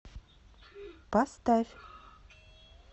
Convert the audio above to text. поставь